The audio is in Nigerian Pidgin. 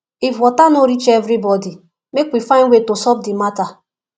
if water no reach everybody make we find way to solve the matter